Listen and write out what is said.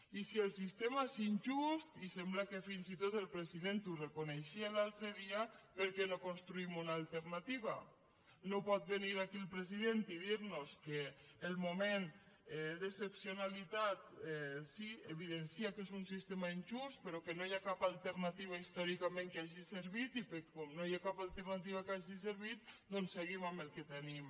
i si el sistema és injust i sembla que fins i tot el president ho reconeixia l’altre dia per què no construïm una alternativa no pot venir aquí el president i dirnos que el moment d’excepcionalitat sí evidencia que és un sistema injust però que no hi ha cap alternativa històricament que hagi servit i com que no hi ha cap alternativa que hagi servit doncs seguim amb el que tenim